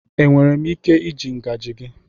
Enwere m ike iji ngaji gị?